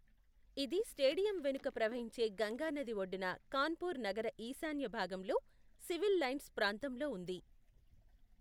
ఇది స్టేడియం వెనుక ప్రవహించే గంగా నది ఒడ్డున కాన్పూర్ నగర ఈశాన్య భాగంలో సివిల్ లైన్స్ ప్రాంతంలో ఉంది.